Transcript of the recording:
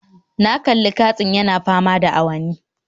Na kalli katsin yana fama da awanni